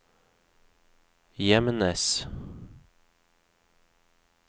Gjemnes